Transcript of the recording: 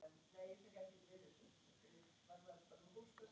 En ég er.